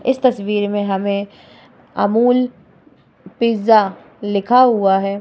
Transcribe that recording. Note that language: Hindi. इस तस्वीर में हमें अमूल पिज़्ज़ा लिखा हुआ है।